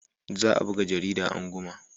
Za a buga jarida anguma.